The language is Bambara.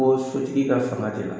Ko sotigi ka fanga te na